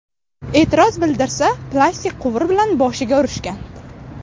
E’tiroz bildirsa, plastik quvur bilan boshiga urishgan.